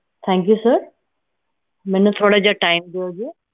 thankyousir ਮੈਨੂੰ ਥੋੜਾ ਜੇਹਾ ਦਿਓਗੇ